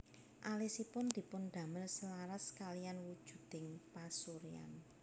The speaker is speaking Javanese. Alisipun dipundamel selaras kalihan wujuding pasuryan